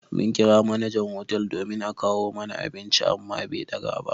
Mun ƙira manajan hotel domin a kawo mana abinci amma be ɗaga ba.